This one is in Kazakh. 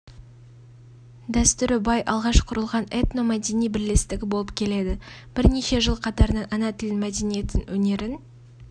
дәстүрі бай алғаш құрылған этномәдени бірлестігі болып келеді бірнеше жыл қатарынан ана тілін мәдениетін өнерін